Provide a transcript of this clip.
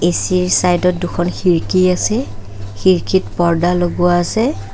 AC ৰ side ত দুখন খিৰিকী আছে খিৰিকীত পৰ্দা লগোৱা আছে।